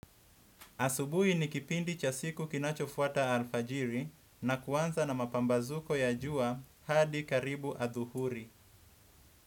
Asubuhi ni kipindi cha siku kinacho fuata alfajiri na kuanza na mapambazuko ya jua hadi karibu adhuhuri.